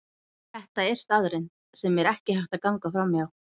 Þetta er staðreynd, sem ekki er hægt að ganga framhjá.